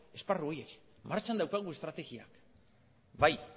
esparru horiek martxan daukagu estrategia bai